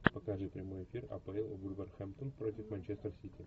покажи прямой эфир апл вулверхэмптон против манчестер сити